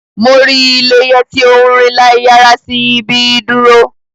Mo rii Leye ti o nrin laiyara si ibi iduro.